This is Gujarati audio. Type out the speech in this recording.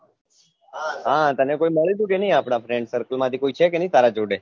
હા તને કોઈ મળ્યું હતું કે નહી આપના friend circle માંથી કોઈછે કે નહી તારા જોડે